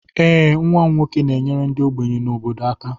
Ee, nwa m nwoke na-enyere ndị ogbenye na obodo aka